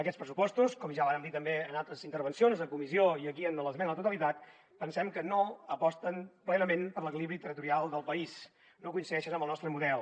aquests pressupostos com ja vàrem dir també en altres intervencions en comissió i aquí en l’esmena a la totalitat pensem que no aposten plenament per l’equilibri territorial del país no coincideixen amb el nostre model